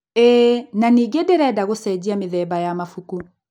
ĩĩ, na ningĩ ndĩrenda gũcenjia mĩthemba ya mabuku.